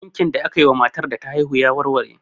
Ɗinkin da akayi wa matar da ta haihu ya warware.